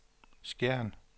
Skjern